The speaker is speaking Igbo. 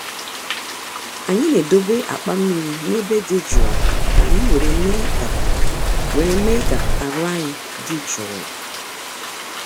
anyị na-edobe akpa mmiri n’ebe dị jụụ ka anyị were me ka were me ka aru ayi di juu